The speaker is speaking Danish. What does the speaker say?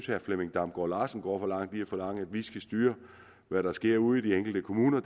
herre flemming damgaard larsen går for langt ved at forlange at vi skal styre hvad der sker ude i de enkelte kommuner